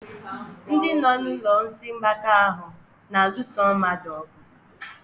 Ndị nọ n'ụlọ ndị isi mgbaka ahụ na-alụso mmadụ ọgụ.